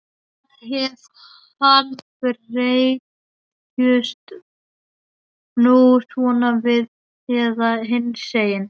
Hvað ef hann bregst nú svona við eða hinsegin?